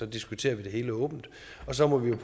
diskuterer vi det hele åbent og så må vi jo